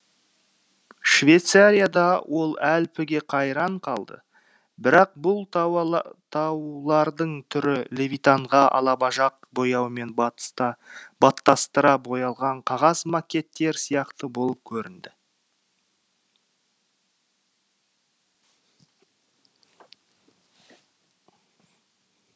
швейцарияда ол альпіге қайран қалды бірақ бұл таулардың түрі левитанға алабажақ бояумен баттастыра боялған қағаз макеттер сияқты болып көрінді